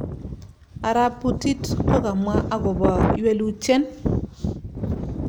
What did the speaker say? Arap Putit ko kamwa akopa ywelutyen